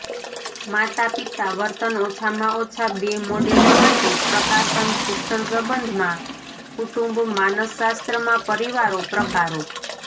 માતાપિતા વર્તન ઓછામાં ઓછા બે મોડેલો માટે પ્રકાશન શિક્ષણ સંબંધમાં કુટુંબ માનસશાસ્ત્રમાં પરિવારો પ્રકારો